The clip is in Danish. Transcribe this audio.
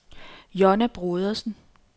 Jonna Brodersen